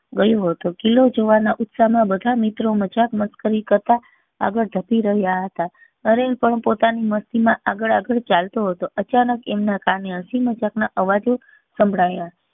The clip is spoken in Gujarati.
ગયું હતો કિલ્લો જોવાના ઉત્સાહ માં બધા મિત્રો મજાક મશ્કરી કરતા આગળ જ્હ્પી રહ્યા હતા નરેન પણ પોતાની મસ્તી માં આગળ આગળ ચાલતો હતો અચાનક એમના કાને હસી મજાક ના અવાજો સંભળાયા